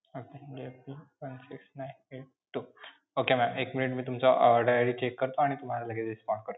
Okay. J P one six nine eight two. okay ma'am एक minute मी तुमचा order ID check करतो आणि तुम्हाला लगेच respond करतो.